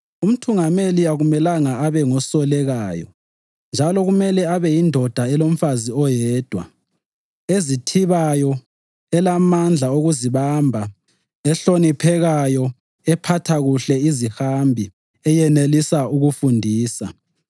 Umthungameli akumelanga abengosolekayo njalo kumele abeyindoda elomfazi oyedwa, ezithibayo, elamandla okuzibamba, ehloniphekayo, ephatha kuhle izihambi, eyenelisa ukufundisa,